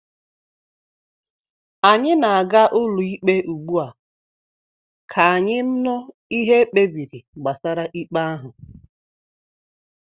Anyị na-aga ụlọikpe ugbu a ka anyị nụ ihe ekpebiri gbasara ikpe ahụ